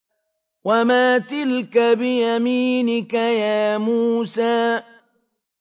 وَمَا تِلْكَ بِيَمِينِكَ يَا مُوسَىٰ